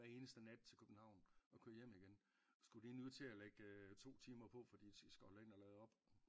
Hver eneste nat til København og køre hjem igen skulle de nu til at lægge 2 timer på fordi de skal holde ind og lade op?